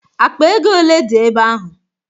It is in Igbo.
Akpa ego ole dị ebe ahụ?